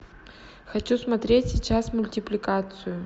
хочу смотреть сейчас мультипликацию